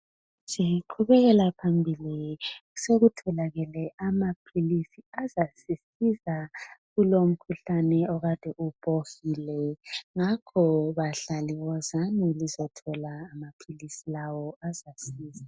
Siqhubekela phambili ,sokutholakele amaphilisi azasisiza kulomkhuhlane okade ubhohile . Ngakho bahlali wozani lizothola amaphilisi lawo azasiza.